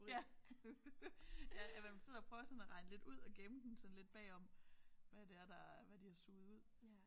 Ja ja at man sidder og prøver sådan at regne lidt ud og gemme den sådan lidt bagom hvad det er der hvad de har suget ud